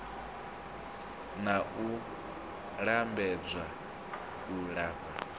na u lambedza u lafha